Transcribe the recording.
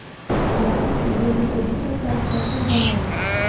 हालांकि सूबे में प्रदूषण का स्तर फिर बढ़ा है